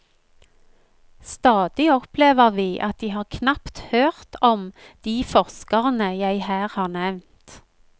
Stadig opplever vi at de knapt har hørt om de forskerne jeg her har nevnt.